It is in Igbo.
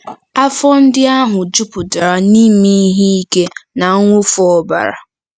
Afọ ndị ahụ jupụtara n'ime ihe ike na mwụfu ọbara.